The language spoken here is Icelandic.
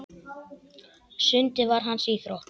Sundið var hans íþrótt.